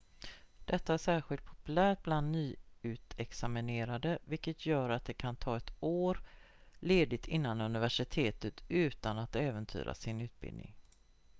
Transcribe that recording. detta är särskilt populärt bland nyutexaminerade vilket gör att de kan ta ett år ledigt innan universitetet utan att äventyra sin utbildning